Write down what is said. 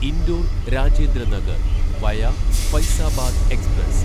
indoor Rajendra Nagar via Faizabad express